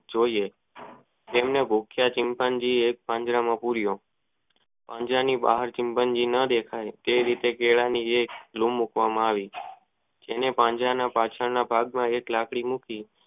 જોઈએ જેમનું મુખ્ય ચિતંન જી એક પાંજરામાં પૂરિયો પાંજરાની બહાર મુખ્ય જી માટે તે રીતે તે રીતે કેળા ની મુકવા માં આવી જેના પાંજરાના પાછળ ના ભાગ માં એક લાકડી મૂકી